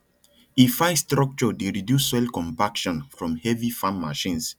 e fine structure dey reduce soil compaction from heavy farm machines